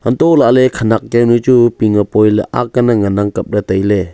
antoh lahle khenek jawnu chu ping a poi aag lal le ngan ang kapley.